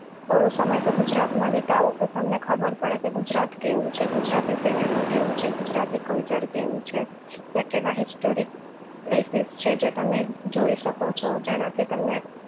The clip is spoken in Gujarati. થોડો સમય તો ગુજરાત માં વિતાવો તો તમને ખબર પડે કે ગુજરાત કેવું છે ગુજરાતી cinema કેવું છે ગુજરાતી culture કેવું છે કે કેવા historicplaces છે જે તમે જોઈ શકો છો જેનાથી તમને